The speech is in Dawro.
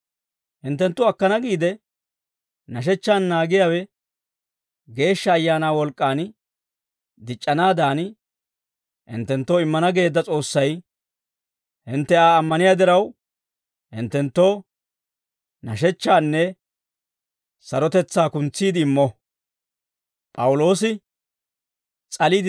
Hinttenttu akkana giide nashechchaan naagiyaawe Geeshsha Ayaanaa wolk'k'aan dic'c'anaadan, hinttenttoo immana geedda S'oossay, hintte Aa ammaniyaa diraw, hinttenttoo nashechchaanne sarotetsaa kuntsiide immo.